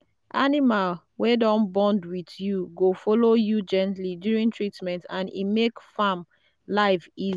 animal wey don bond with you go follow you gently during treatment and e make farm life